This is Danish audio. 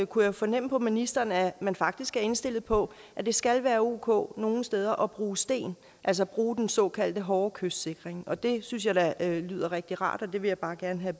kunne jeg fornemme på ministeren at man faktisk er indstillet på at det skal være ok nogle steder at bruge sten altså bruge den såkaldte hårde kystsikring det synes jeg da lyder rigtig rart og det vil jeg bare gerne have